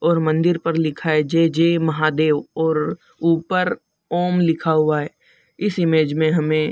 और मंदिर पर लिखा है जय जय महादेव और ऊपर ॐ लिखा हुआ है इस इमेज में हमें --